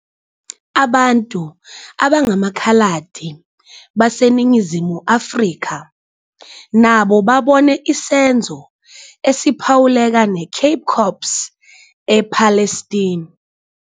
Abantu abangamaKhaladi baseNingizimu Afrika nabo babone isenzo esiphawuleka neCape Corps ePalestine.